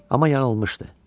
Amma yanılmışdı.